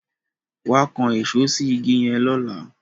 wá kán Èṣó sí ìgi yen lọla